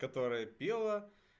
которая пела